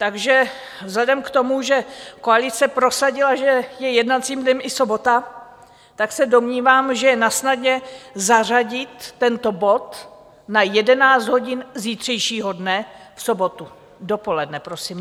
Takže vzhledem k tomu, že koalice prosadila, že je jednacím dnem i sobota, tak se domnívám, že je nasnadě zařadit tento bod na 11 hodin zítřejšího dne, v sobotu, dopoledne prosím.